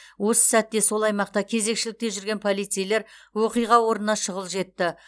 осы сәтте сол аймақта кезекшілікте жүрген полицейлер оқиға орнына шұғыл жетті